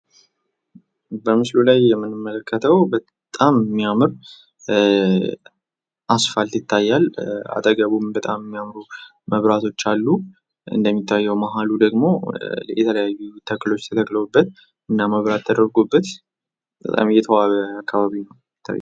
በምስሉ ላይ የምንመለከተው በጣም ሚያምር አስፓልት ይታያል። አጠገቡም በጣም ሚያምሩ መብራቶች አሉ ። እንደሚታየው መሀሉ ደግሞ የተለያዩ ተክሎች ተተክለውበት እና መብራት ተደርጎበት በጣም የተዋበ አካባቢ ነው ሚታይ ።